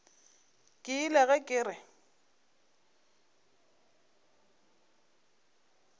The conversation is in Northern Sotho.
ke ile ge ke re